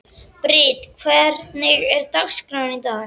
Brit, hvernig er dagskráin í dag?